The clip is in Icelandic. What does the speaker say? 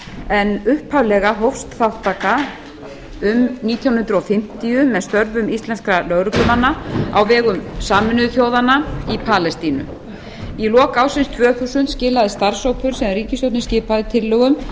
en upphaflega hófst þátttaka um nítján hundruð fimmtíu með störfum íslenskra lögreglumanna á vegum sameinuðu þjóðanna í palestínu í lok ársins tvö þúsund skilaði starfshópur sem ríkisstjórnin skipaði tillögum